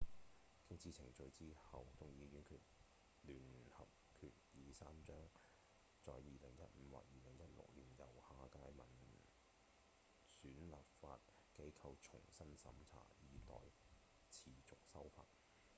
經此程序之後眾議院聯合決議3將在2015或2016年由下屆民選立法機構重新審查以持續修法